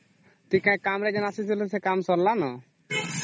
ଯୋଉ କାମ ରେ ଆସିଥିଲେ ସେ କାମ ସାରିଲାଣି